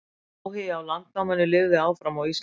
Áhugi á landnáminu lifði áfram á Íslandi.